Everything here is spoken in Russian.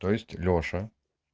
то есть лёша